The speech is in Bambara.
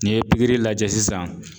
N'i ye pikiri lajɛ sisan